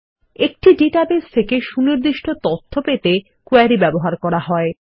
একটি ডাটাবেস থেকে সুনির্দিষ্ট তথ্য পেতে কোয়েরি ব্যবহার করা হয়